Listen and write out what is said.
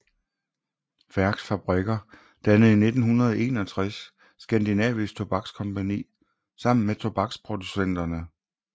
Færchs Fabrikker dannede i 1961 Skandinavisk Tobakskompagni sammen med tobaksproducenterne Chr